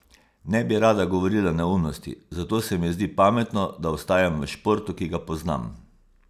Ne bi rada govorila neumnosti, zato se mi zdi pametno, da ostajam v športu, ki ga poznam.